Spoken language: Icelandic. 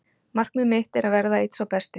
Markmið mitt er að verða einn sá besti.